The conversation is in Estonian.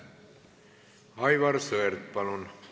Aivar Sõerd, palun!